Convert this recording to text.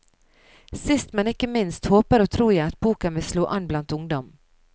Sist men ikke minst håper og tror jeg at boken vil slå an blant ungdom.